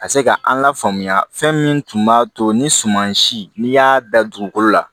Ka se ka an lafaamuya fɛn min tun b'a to ni suman si n'i y'a da dugukolo la